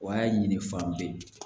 O y'a ɲini fan bɛɛ